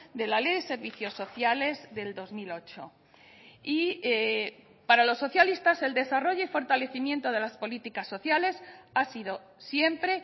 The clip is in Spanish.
de la ley de servicios sociales del dos mil ocho y para los socialistas el desarrollo y fortalecimiento de las políticas sociales ha sido siempre